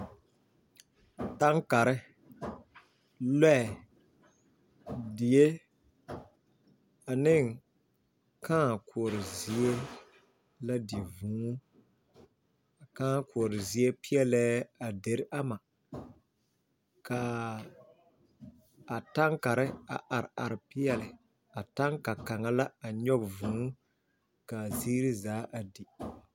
Tankare, loɛ, die ane kãã koɔrɔ zie la di vūū a kãã koɔre zie peɛle la a deri ama ka a tankare a are are peɛle a tanka kaŋa a nyɔge vūū ka a zie zaa a di.